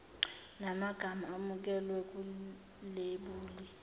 namagama amukelwe kwilebuli